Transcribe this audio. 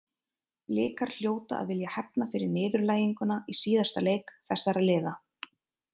Blikar hljóta að vilja hefna fyrir niðurlæginguna í síðasta leik þessara liða.